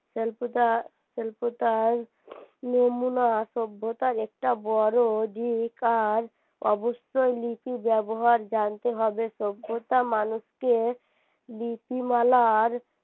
স্বল্পতা সল্পতায় নমুনা সভ্যতার একটা বড় দিক আর অবশ্যই লিপি ব্যবহার জানতে হবে সভ্যতা মানুষকে লিপিমালার